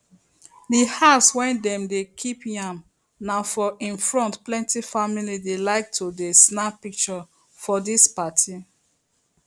the house wey dem dey kip yam na for im front plenty family dey like to dey snap pictures for dis party